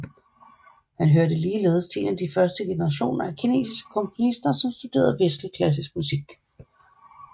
Han hørte ligeledes til en af de første generationer af kinesiske komponister som studerede vestlig klassisk musik